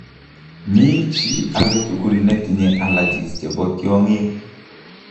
Mi chi ake tugul netinye allrgies chebo tiong'ik